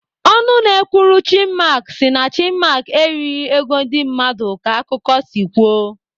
Ọnụ na-ekwuru Chinmark si na Chinmark erighị ego ndị mmadụ ka akụkọ si kwuo.